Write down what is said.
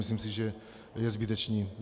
Myslím si, že je zbytečné.